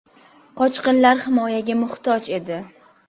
Qochqinlar himoyaga muhtoj edi.